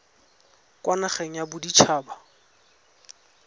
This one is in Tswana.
kwa nageng ya bodit haba